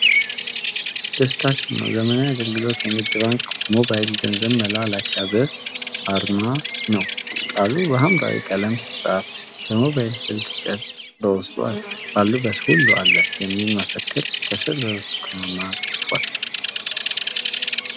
"ደስታችን ነው! ዘመናዊ አገልግሎት!" የንግድ ባንክ ሞባይል ገንዘብ መላላኪያ "ብር" አርማ ነው። ቃሉ በሐምራዊ ቀለም ሲፃፍ፣ የሞባይል ስልክ ቅርፅ በውስጡ አለ። "ባሉበት ሁሉ አለ !" የሚል መፈክር ከስር በብርቱካናማ ተፅፏል።